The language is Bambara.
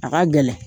A ka gɛlɛn